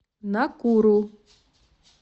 накуру